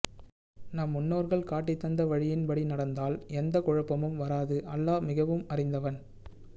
நம் முண்ணோற்கள் காட்டிதந்த வழியின் படி நடந்தால் எந்த குழபமும் வராது அல்லாஹ் மிகஉம் அறிந்தவன்